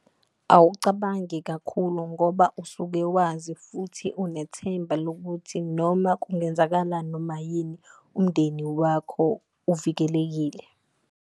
Awucabangi kakhulu ngoba usuke wazi futhi unethemba lokuthi noma kungenzakala noma yini umndeni wakho uvikelekile.